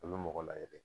A bɛ mɔgɔ layɛ de